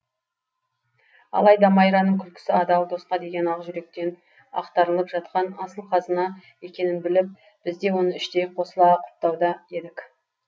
алайда майраның күлкісі адал досқа деген ақ жүректен ақтарылып жатқан асыл қазына екенін біліп бізде оны іштей қосыла құптауда едік